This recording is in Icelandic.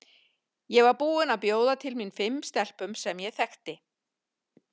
Ég var búin að bjóða til mín fimm stelpum sem ég þekki.